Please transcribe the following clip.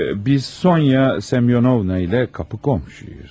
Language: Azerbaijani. Biz Sonya Semyonovna ilə qapı qonşuyuz.